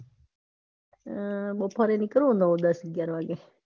અમ બપોરે નીકળવું નવ દસ અગ્યાર વાગે.